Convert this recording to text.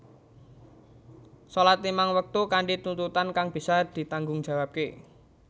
Salat limang waktu kanthi tuntunan kang bisa ditanggungjawabke